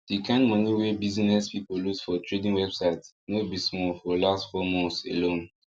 the kind money wey businesy people loose for trading website no be small for last four months alone